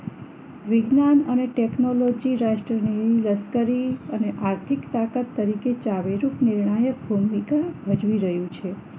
વિજ્ઞાન અને ટેકનોલોજી રાષ્ટ્રની લશ્કરી અને આર્થિક તાકાત તરીકે ચાવીરૂપ નિર્ણાયક ભૂમિકા ભજવી રહ્યું છે